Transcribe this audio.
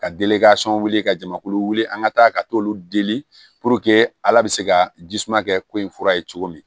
Ka wuli ka jamakulu wuli an ka taa ka t'olu deli puruke ala bɛ se ka jisuma kɛ ko in fura ye cogo min